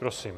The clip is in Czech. Prosím.